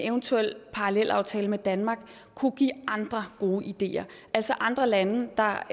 eventuel parallelaftale med danmark kunne give andre gode ideer altså andre lande der